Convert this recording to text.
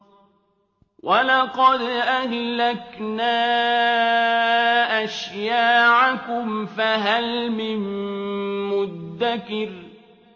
وَلَقَدْ أَهْلَكْنَا أَشْيَاعَكُمْ فَهَلْ مِن مُّدَّكِرٍ